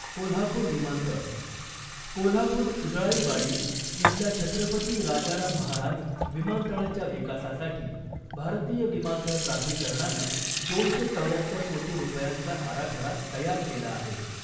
कोल्हापुर विमानतळ कोल्हापुर उळजाईवाडी इथल्या छत्रपती राजाराम महाराज विमानतळाच्या विकासासाठी भारतीय विमानतळ प्राधिकरणानं दोनशे चौर्याहत्तर कोटी रुपयांचा आराखडा तयार केला आहे .